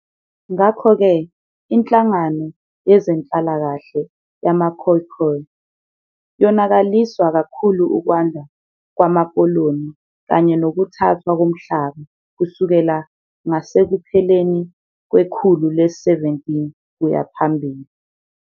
Ngakho-ke inhlangano yezenhlalakahle yama-"Khoekhoe" yonakaliswa kakhulu ukwanda kwamakoloni kanye nokuthathwa komhlaba kusukela ngasekupheleni kwekhulu le-17 kuya phambili.